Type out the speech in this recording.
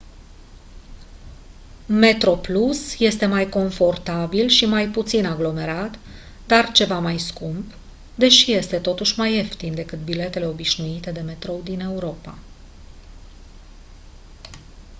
metroplus este mai confortabil și mai puțin aglomerat dar ceva mai scump deși este totuși mai ieftin decât biletele obișnuite de metrou din europa